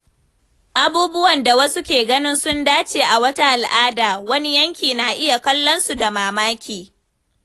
Abubuwan da wasu ke ganin sun dace a wata al’ada, wani yanki na iya kallonsu da mamaki.